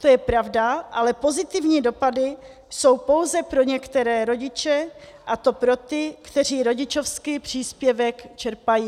To je pravda, ale pozitivní dopady jsou pouze pro některé rodiče, a to pro ty, kteří rodičovský příspěvek čerpají.